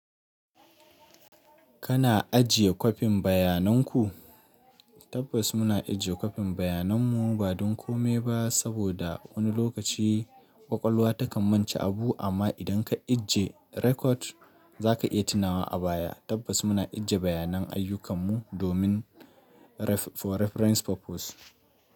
Kana ajiye kwafin bayanan ku? Tabbas muna ajiye kwafin bayanan mu ba don kome ba saboda wani lokaci ƙwaƙwalwa takan mance abu amma idan ka ajiye rekod za ka iya tunawa a baya. Tabbas muna ajiye bayanan ayyukan mu domin for reference purpose.